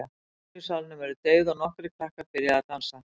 Ljósin í salnum eru deyfð og nokkrir krakkar byrja að dansa.